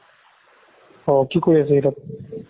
অ' কি কৰি আছে সি তাত